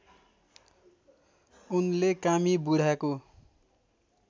उनले कामी बुढाको